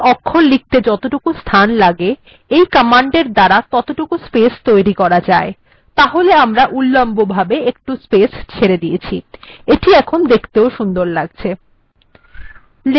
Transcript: x অক্ষর লিখতে যতটুকু স্থান লাগে এই কমান্ডএর দ্বারা সেটুকু স্পেস্ তৈরী করা যায় তাহলে আমরা উলম্ব ভাবে একটু স্পেস্ ছেড়ে দিয়েছি এখন এটি দেখতেও সুন্দর লাগছে